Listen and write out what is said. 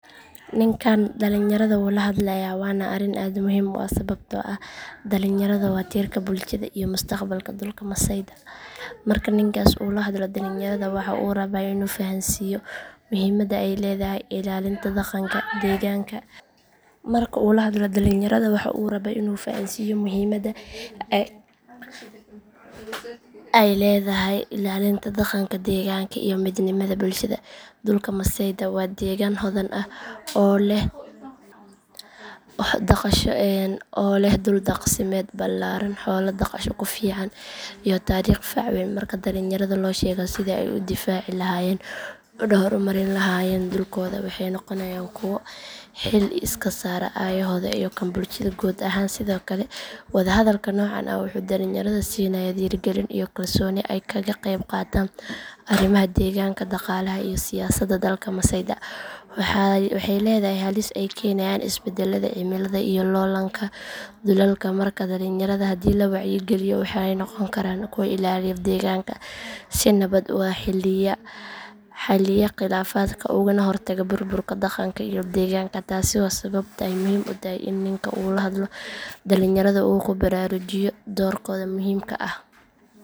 Ninkan dhalinyarada wuu la hadlayaa waana arrin aad muhiim u ah sababtoo ah dhalinyarada waa tiirka bulshada iyo mustaqbalka dhulka masaayda marka ninkaasi uu la hadlo dhalinyarada waxa uu rabaa in uu fahansiiyo muhiimadda ay leedahay ilaalinta dhaqanka deegaanka iyo midnimada bulshada dhulka masaayda waa deegaan hodan ah oo leh dhul daaqsimeed ballaaran xoolo dhaqasho ku fiican iyo taariikh fac weyn marka dhalinyarada loo sheego sidii ay u difaaci lahaayeen una horumarin lahaayeen dhulkooda waxay noqonayaan kuwo xil iska saara aayahooda iyo kan bulshada guud ahaan sidoo kale wada hadalka noocan ah wuxuu dhalinyarada siinayaa dhiirigelin iyo kalsooni ay kaga qayb qaataan arrimaha deegaanka dhaqaalaha iyo siyaasadda dhulka masaayda waxay leedahay halis ay keenayaan isbeddelada cimilada iyo loollanka dhulalka markaa dhalinyarada haddii la wacyigeliyo waxay noqon karaan kuwa ilaaliya deegaanka si nabad ah u xalliya khilaafaadka ugana hortaga burburka dhaqanka iyo deegaanka taasi waa sababta ay muhiim u tahay in ninkan uu la hadlo dhalinyarada oo uu ku baraarujiyo doorkooda muhiimka ah.